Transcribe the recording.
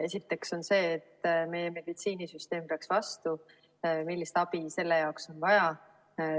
Esiteks on see, et meie meditsiinisüsteem peaks vastu, millist abi selle jaoks on vaja.